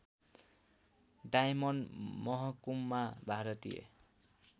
diamond महकुमा भारतीय